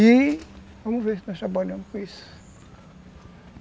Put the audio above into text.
E... vamos ver nós trabalhamos com isso.